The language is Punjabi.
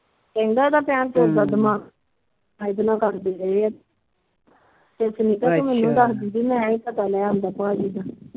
ਕਹਿੰਦਾ ਇਹਦਾ ਭੈਣਚੋਦ ਦਾ ਦਿਮਾਗ ਸੁਨੀਤਾ ਤੂੰ ਮੈਨੂੰ ਦੱਸ ਦਿੰਦੀ ਮੈ ਹੀ ਪਤਾ ਲੈ ਆਂਦਾ ਭਾਜੀ ਦਾ